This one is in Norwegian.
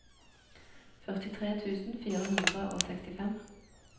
førtitre tusen fire hundre og sekstifem